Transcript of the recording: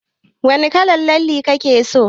Wani kalar lalle kike so?